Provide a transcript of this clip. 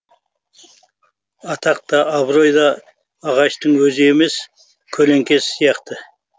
атақ та абырой да ағаштың өзі емес көлеңкесі сияқты